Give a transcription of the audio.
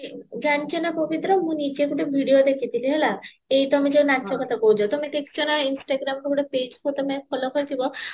ଜାଣିଚ ନାଁ ପବିତ୍ର ମୁଁ ନିଜେ ଗୋଟେ video ଦେଖିଥିଲି ହେଲା ଏଇ ତମେ ଯୋଉ ନାଚ କଥା କହୁଚ ତମେ ଦେଖିଚ ନାଁ instagramରୁ ଗୋଟେ page ତମେ follow କରିଥିବା